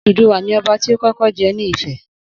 Odùduwà ni Ọba ti ó kọ́kọ́ jẹ ni Ifẹ̀.